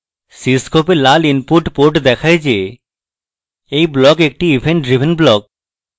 cscope এ লাল input port দেখায় the এই block একটি event driven block